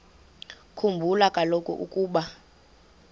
khumbula kaloku ukuba